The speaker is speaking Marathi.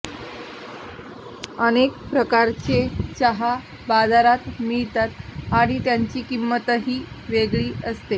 अनेक प्रकारचे चहा बाजारात मिळतात आणि त्यांची किंमतही वेगळी असते